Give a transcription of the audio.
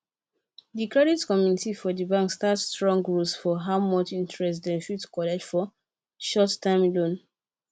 the credit committee for the bank set strong rules for how much interest dem fit collect for short time loans